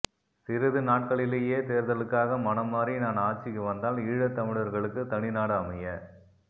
சிறிது நாட்களிலேயே தேர்தலுக்காக மனம் மாறி நான் ஆட்சிக்கு வந்தால் ஈழத் தமிழர்களுக்கு தனிநாடு அமைய